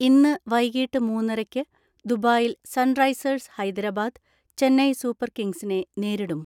ഇന്ന് വൈകിട്ട് മൂന്നരയ്ക്ക് ദുബായിൽ സൺറൈസേഴ്സ് ഹൈദരബാദ്, ചെന്നൈ സൂപ്പർ കിംഗ്സിനെ നേരിടും.